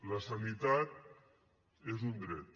la sanitat és un dret